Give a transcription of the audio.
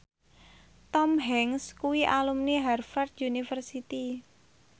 Tom Hanks kuwi alumni Harvard university